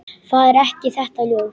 Það er ekki þetta ljós.